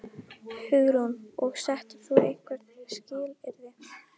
Hugrún: Og settir þú einhver skilyrði?